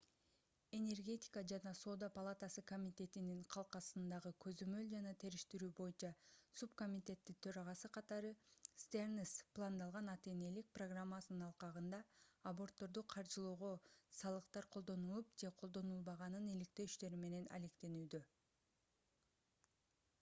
энергетика жана соода палатасы комитетинин калкасындагы көзөмөл жана териштирүү боюнча субкомитеттин төрагасы катары стернс пландалган ата-энелик программасынын алкагында абортторду каржылоого салыктар колдонулуп же колдонулбаганын иликтөө иштери менен алектенүүдө